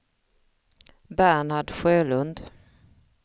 Bernhard Sjölund